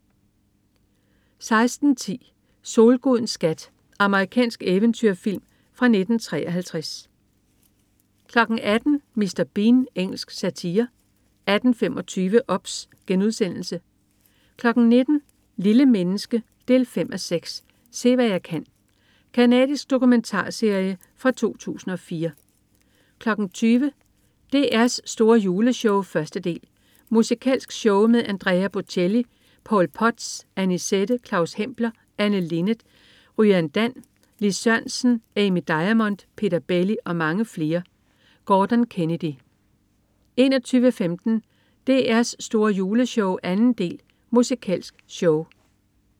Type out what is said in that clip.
16.10 Solgudens skat. Amerikansk eventyrfilm fra 1953 18.00 Mr. Bean. Engelsk satire 18.25 OBS* 19.00 Lille menneske 5:6. Se hvad jeg kan. Canadisk dokumentarserie fra 2004 20.00 DR's store Juleshow 1. del. Musikalsk show med Andrea Bocelli, Paul Potts, Annisette, Claus Hempler, Anne Linnet, RyanDan, Lis Sørensen, Amy Diamond, Peter Belli og mange flere. Gordon Kennedy 21.15 DR's store Juleshow 2. del. Musikalsk show